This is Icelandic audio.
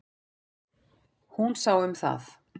Hún sá um það.